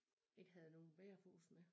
Ikke havde nogen bærepose med